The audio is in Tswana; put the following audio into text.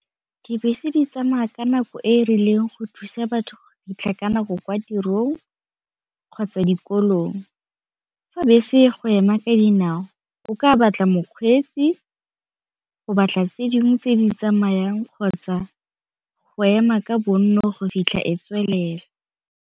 Dibese di tsamaya ka nako e e rileng go thusa batho fitlha ka nako kwa tirong kgotsa dikolong, fa bese e go ema ka dinao o ka batla mokgweetsi, go batla tse dingwe tse di tsamayang kgotsa go ema ka bonno go fitlha ko tswelela.